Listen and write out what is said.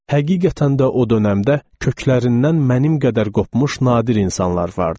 Həqiqətən də o dönəmdə köklərindən mənim qədər qopmuş nadir insanlar vardı.